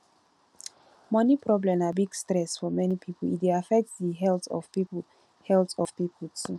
money problem na big stress for many people e dey affect di health of pipo health of pipo too